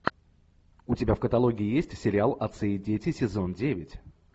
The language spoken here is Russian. у тебя в каталоге есть сериал отцы и дети сезон девять